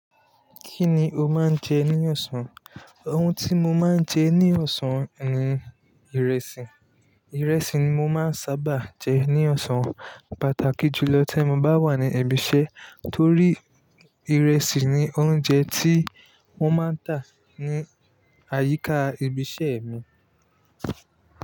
Kí ni o máa ń jẹ ní ọ̀sán? Òun tí mo máa ń jẹ ní ọ̀sán ni ìrẹsì. Ìrẹsì ni mo máa ń saábà jẹ ní ọ̀sán pàtàkì jùlọ tí mo bá wà ní ibi iṣẹ́ torí ìrẹsì ni oúnjẹ tí wọ́n máa ń tà ní àyíká ibi iṣẹ́ mi.